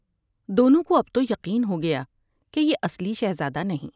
دونوں کو اب تو یقین ہو گیا کہ یہ اصلی شہزادہ نہیں ۔